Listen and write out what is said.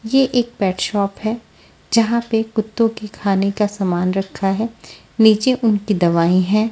ये एक pet shop है जहा पे कुत्तो के खाने का सामान रखा है निचे उनकी दवाई है।